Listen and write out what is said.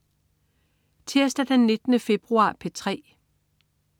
Tirsdag den 19. februar - P3: